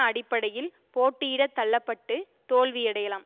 அடிப்படையில் போட்டியிடத் தள்ள பட்டு தோல்வியடையலாம்